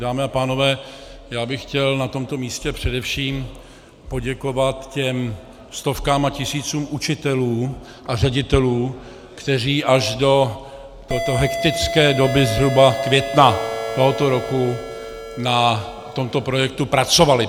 Dámy a pánové, já bych chtěl na tomto místě především poděkovat těm stovkám a tisícům učitelů a ředitelů, kteří až do této hektické doby zhruba května tohoto roku na tomto projektu pracovali.